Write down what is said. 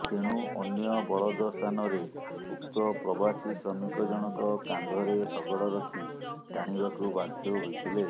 ତେଣୁ ଅନ୍ୟ ବଳଦ ସ୍ଥାନରେ ଉକ୍ତ ପ୍ରବାସୀ ଶ୍ରମିକ ଜଣକ କାନ୍ଧରେ ଶଗଡ଼ ରଖି ଟାଣିବାକୁ ବାଧ୍ୟ ହୋଇଥିଲେ